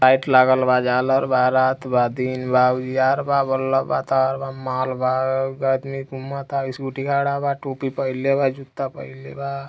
Light लागल बा झालर बा रात बा दिन बा उजियार बा वल्लो बा तार बा माल बा अ एक आदमी घुमता स्कूटी खड़ा बा टोपी पहिनले बा जूता पहिनले बा।